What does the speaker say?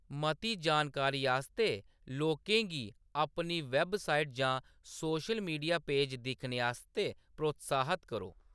मती जानकारी आस्तै लोकें गी अपनी वैबसाइट जां सोशल मीडिया पेज दिक्खने आस्तै प्रोत्साहत करो।